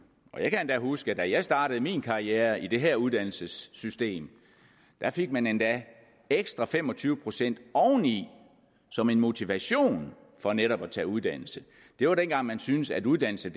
jeg kan huske at da jeg startede min karriere i det her uddannelsessystem fik man endda ekstra fem og tyve procent oveni som en motivation for netop at tage uddannelse det var dengang man syntes at uddannelse